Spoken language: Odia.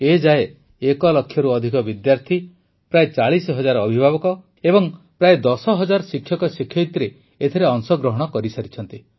ଏଯାଏ ଏକଲକ୍ଷରୁ ଅଧିକ ବିଦ୍ୟାର୍ଥୀ ପ୍ରାୟ ୪୦ ହଜାର ଅଭିଭାବକ ଏବଂ ପ୍ରାୟ ୧୦ ହଜାର ଶିକ୍ଷକଶିକ୍ଷୟିତ୍ରୀମାନେ ଏଥିରେ ଅଂଶଗ୍ରହଣ କରିସାରିଛନ୍ତି